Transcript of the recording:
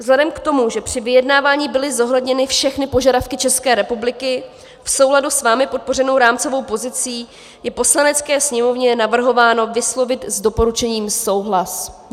Vzhledem k tomu, že při vyjednávání byly zohledněny všechny požadavky České republiky, v souladu s vámi podpořenou rámcovou pozicí je Poslanecké sněmovně navrhováno vyslovit s doporučením souhlas.